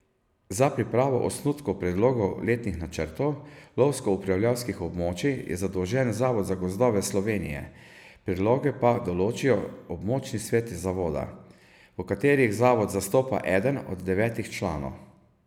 Za pripravo osnutkov predlogov letnih načrtov lovsko upravljalskih območij je zadolžen Zavod za gozdove Slovenije, predloge pa določijo območni sveti zavoda, v katerih zavod zastopa eden od devetih članov.